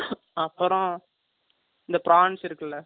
அப்புறம், இந்த prawns இருக்குல்ல?